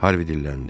Harvi dilləndi.